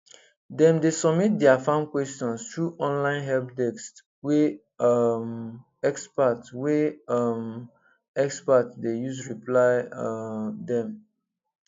dem dey submit their farm questions through online helpdesk wey um expert wey um expert dey use reply um dem